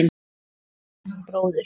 Ég hef eignast bróður.